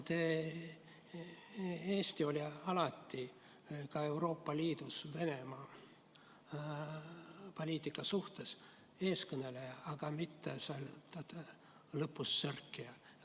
Eesti oli alati ka Euroopa Liidus Venemaa-poliitika osas eeskõneleja, aga mitte lõpus sörkija.